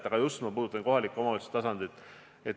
Ma puudutan just kohaliku omavalitsuse tasandit.